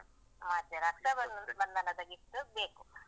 ಅದೆ ರಕ್ಷಾಬ~ ರಕ್ಷಾಬಂಧನದ gift ಬೇಕು.